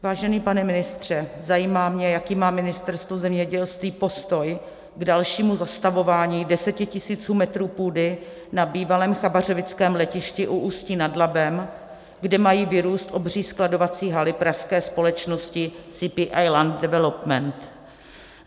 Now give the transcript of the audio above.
Vážený pane ministře, zajímá mě, jaký má Ministerstvo zemědělství postoj k dalšímu zastavování desetitisíců metrů půdy na bývalém chabařovickém letišti u Ústí nad Labem, kde mají vyrůst obří skladovací haly pražské společnosti CPI - Land Development.